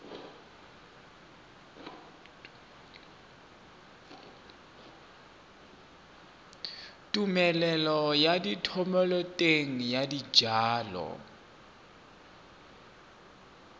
tumelelo ya thomeloteng ya dijalo